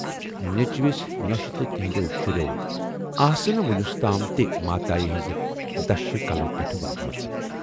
نیچوِس، نۅشہِ تہٕ تِہٕندٮ۪و شُرٮ۪و آسہٕ نہٕ وُنِستام تہِ ماتایہِ ہٕنز دشہِ کلو پٮ۪ٹھٕ واجِمژٕ۔